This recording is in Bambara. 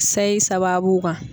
Sayi sababu kan.